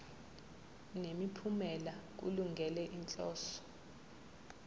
nemiphumela kulungele inhloso